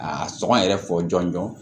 A sɔngɔ yɛrɛ fɔ jɔn jɔn